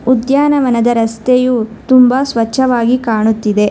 ಉದ್ಯಾನವನದ ರಸ್ತೆಯು ತುಂಬ ಸ್ವಚ್ಛವಾಗಿ ಕಾಣಿಸುತ್ತಿದೆ.